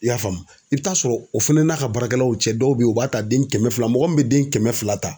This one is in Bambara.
I y'a faamu, i be taa sɔrɔ o fɛnɛ n'a ka baarakɛlaw cɛ dɔw be yen u b'a ta den kɛmɛ fila. Mɔgɔ min be den kɛmɛ fila ta